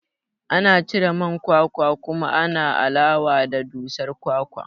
Ana cire man kwakwa kuma ana alawa da dusar kwakwan